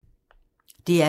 DR P2